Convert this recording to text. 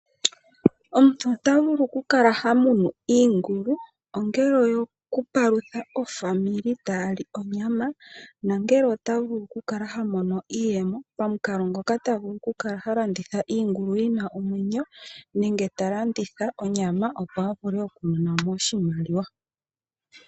Omuntu ota vulu okukala hamunu iigulu ongele oyo kupalutha ofamali ta yali onyama nongele ota vulu okukala hamono iiyemo pamukalo ngoka ta vulu okukala talanditha iigulu yina omwenyo nenge talanditha onyama opo avule oku monamo oshimaliwa.